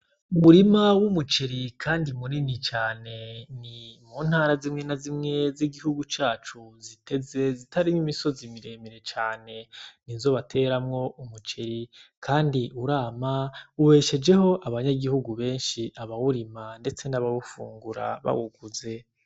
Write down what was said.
Umurima w’umuceri kandi munini cane ni mu ntara zimwe na zimwe z’igihugu cacu ziteze zitari n’imisozi miremire cane nizo bateramwo umuceri kandi urama ubeshejeho abanyagihugu benshi aba wurima ndetse naba wufungura bawuguze.